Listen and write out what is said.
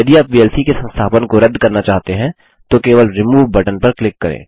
यदि आप वीएलसी के संस्थापन को रद्द करना चाहते हैंतो केवल रिमूव बटन पर क्लिक करें